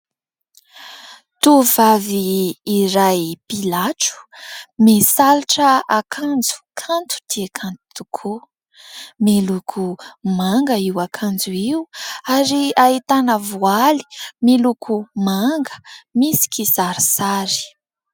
Tovovavy iray mpilatro misalotra akanjo kanto dia kanto tokoa. Miloko manga io akanjo io ary ahitana voaly miloko manga misy kisarisary.